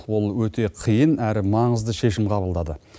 ол өте қиын әрі маңызды шешім қабылдады